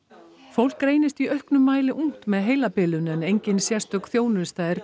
fólk greinist í auknum mæli ungt með heilabilun en engin sérstök þjónusta er